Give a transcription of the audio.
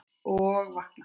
Og vakna!